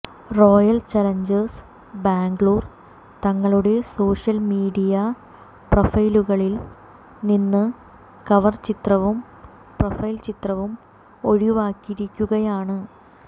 royal Challengers Bangalore തങ്ങളുടെ social media പ്രൊഫൈലുകളിൽ നിന്ന് കവർ ചിത്രവും പ്രൊഫൈൽ ചിത്രവും ഒഴിവാക്കിയിരിക്കുകയാണ്